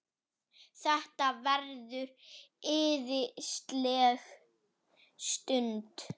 Þetta verður æðisleg stund.